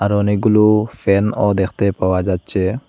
আরও অনেকগুলো ফ্যানও দেখতে পাওয়া যাচ্ছে।